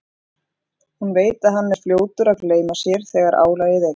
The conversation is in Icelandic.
Hún veit að hann er fljótur að gleyma sér þegar álagið eykst.